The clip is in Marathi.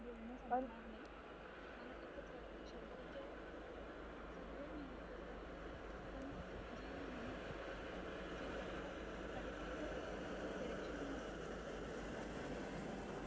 आंगोल बिंगोळ ready करून आम्ही खेळणार तर एक दिवशी काय झाल आम्ही हे रोज रात्री करत होतो.की चला